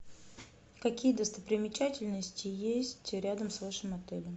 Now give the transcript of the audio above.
какие достопримечательности есть рядом с вашим отелем